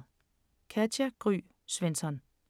Katja Gry Svensson